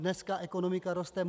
Dneska ekonomika roste.